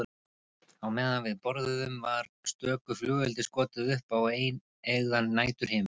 Á meðan við borðuðum var stöku flugeldi skotið upp á eineygðan næturhimininn.